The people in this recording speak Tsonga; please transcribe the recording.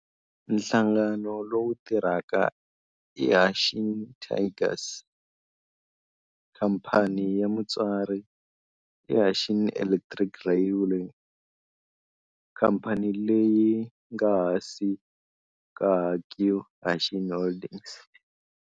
Nhlangano lowu tirhaka i Hanshin Tigers Co., Ltd. Khamphani ya mutswari i Hanshin Electric Railway, khamphani leyi nga ehansi ka Hankyu Hanshin Holdings.